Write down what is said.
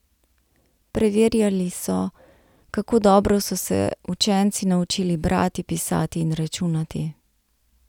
Preverjali so, kako dobro so se učenci naučili brati, pisati in računati.